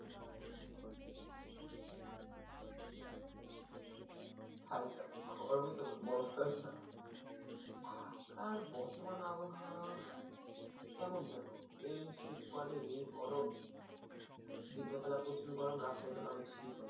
খাইতাম গরমই তো বরফ তো আর না। ঢাকার বর্তমান আবহাওয়া কেমন যেনো এই শীত পরে এই গরম দিনের বেলাই প্রচুর গরম রাতের বেলায় অনেক শীত।